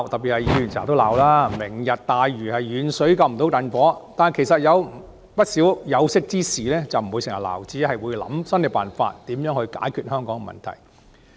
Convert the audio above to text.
議員經常批評"明日大嶼"是遠水不能救近火，但其實不少有識之士不會只批評，而是會想出新方法解決香港的問題。